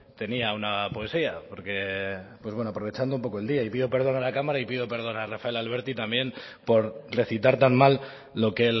tenía una poesía porque bueno aprovechando un poco el día y pido perdón a la cámara y pido perdón a rafael alberti también por recitar tan mal lo que